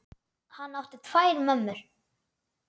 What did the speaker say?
Hann átti tvær mömmur.